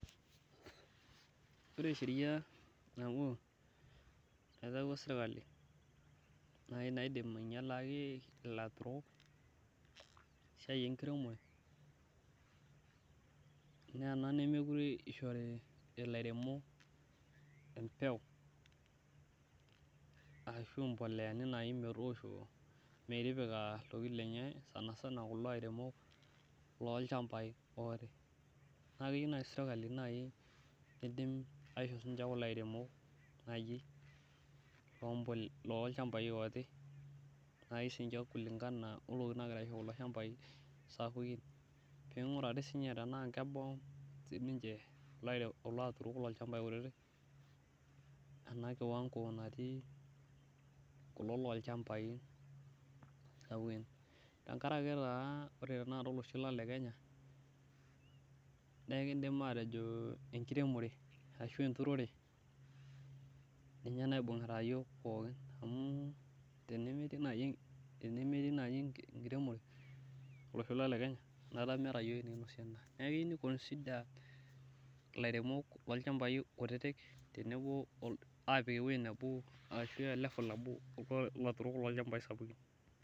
Ore sheria nabo naitauo sirkali naai naidim ainyialaki ilaturrok esiai enkiremiooire naa ena nemeekure ishori ilairemok embeu ashu embolea metipika iltokitin lenye sanasana kulo airemok lolchambai ooti naa keyieu naai sirkali niidim aisho ninche kulo airemok lolchambai ooti naai siinche kulingana ontokitin naagira aisho kulo shambai sapukin pee ing'urari siinche enaa kebau siinche kulo aturrok lolchambai kutitik ena kiwango natii kulo aturok lolchambai sapukin tenkaraki naa ore tanakata olosho lang' le Kenya naa kiidim aatejo enkiremore ashu aa enturore ninye naibung'ita iyiook pookin amu tenemetii naai enkiremore olosho lang' le Kenya enaata mekiata iyiook enikinosie endaa, neeku keyieu ni consider ilaturrok lolchambai kutitik aapik ewuei nebo ashu level nabo olaturrok lolchambai sapukin.